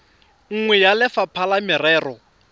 nngwe ya lefapha la merero